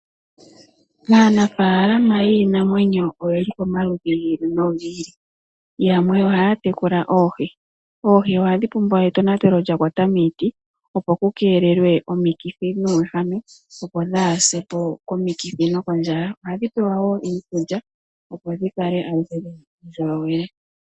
Aanafaalama yiinamwenyo oyeli pamaludhi giili nogiili yamwe ohaa tekula oohi. Oohi ohadhi pumbwa etonatelo lyakwata miiti opo ku keelelwe omikithi nuuwehame opo dhaasepo komikithi nokondjala ohadhi pewa woo iikulya opo dhikale dhina uundjolowele.